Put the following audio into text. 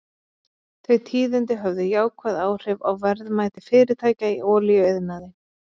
Þau tíðindi höfðu jákvæð áhrif á verðmæti fyrirtækja í olíuiðnaði.